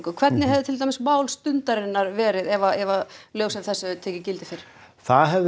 hvernig hefði til dæmis mál Stundarinnar verið ef lög sem þessi hefðu tekið gildi fyrr það hefði